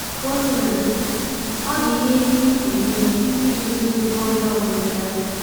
Ka o sina dị, ọ dị ihe ndị ị pụrụ ime iji dozie ihe ọjọọ na-emekarị.